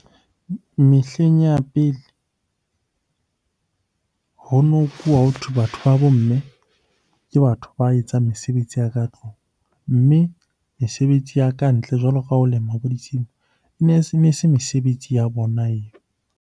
Mehleng ya pele ho nkuwa, hothwe batho ba bo mme ke batho ba etsang mesebetsi ya ka tlung. Mme mesebetsi ya kantle jwalo ka ho lema bo ditshimo ne se mesebetsi ya bona eo.